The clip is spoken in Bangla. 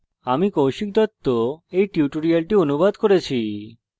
আমি কৌশিক দত্ত এই টিউটোরিয়ালটি অনুবাদ করেছি